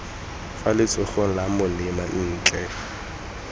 fa letsogong la molema ntle